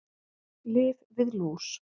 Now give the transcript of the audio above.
Lyf við lús